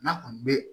N'a kɔni bɛ